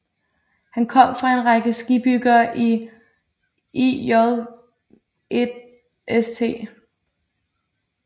Han kom fra en række skibsbyggere i IJlst